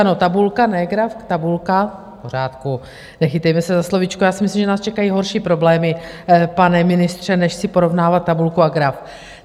Ano, tabulka, ne graf, tabulka, v pořádku, nechytejme se za slovíčko, já si myslím, že nás čekají horší problémy, pane ministře, než si porovnávat tabulku a graf.